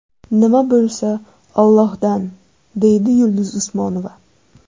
Nima bo‘lsa, Allohdan”, deydi Yulduz Usmonova.